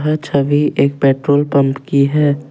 छवि एक petrol pump की है।